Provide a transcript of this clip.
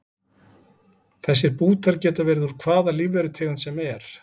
Þessir bútar geta verið úr hvaða lífverutegund sem er.